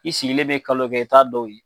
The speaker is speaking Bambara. I sigilen bɛ kalo kɛ i taa dɔw ye.